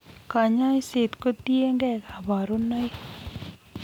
Kanyoiseet kotieng'ee kaborunoik